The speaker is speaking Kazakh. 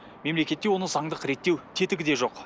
мемлекетте оны заңдық реттеу тетігі де жоқ